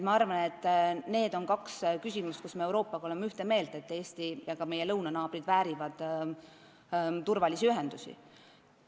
Ma arvan, et need on kaks küsimust, mille osas me oleme Euroopa Liiduga ühte meelt: Eesti väärib turvalisi ühendusi ja väärivad ka meie lõunanaabrid.